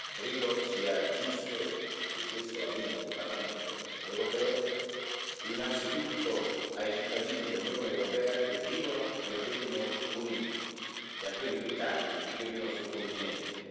credo sia giusto e questa è la linea del Parlamento europeo, innanzitutto ai cittadini dell'Unione europea che vivono nel Regno Unito, e a quelli britannici che vivono sul continente.